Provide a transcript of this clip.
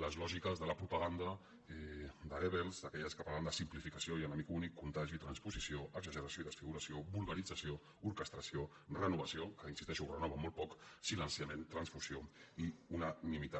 les lògiques de la propaganda de goebbels d’aquelles que parlen de simplificació i enemic únic contagi transposició exageració i desfiguració vulgarització orquestració renovació que hi insisteixo ho renova molt poc silenciament transfusió i unanimitat